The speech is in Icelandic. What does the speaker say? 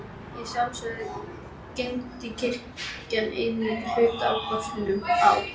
Að sjálfsögðu geymdi kirkjan einnig hluta af krossinum á